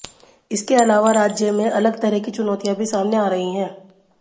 इसके अलावा राज्य में अलग तरह की चुनौतियां भी सामने आ रही हैं